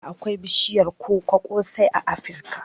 Da akwai bishiyar koko sosai a Afirka